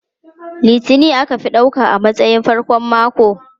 Litini aka fi ɗauka a matsayin farkon mako.